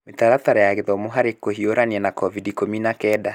Mĩtaratara ya gĩthomo harĩ Kũhiũrania na COVID-19